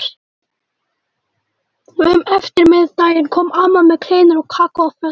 Um eftirmiðdaginn kom amma með kleinur og kakó á flösku.